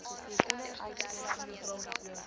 soos hieronder uiteengesit